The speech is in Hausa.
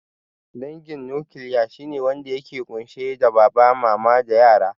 Dangin nukiliya shine wanda yake ƙunshe da baba, mama da yara